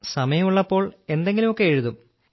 സമയമുള്ളപ്പോൾ എന്തെങ്കിലുമൊക്കെ എഴുതും